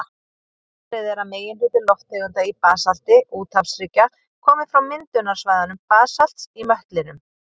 Talið er að meginhluti lofttegunda í basalti úthafshryggja komi frá myndunarsvæðum basalts í möttlinum.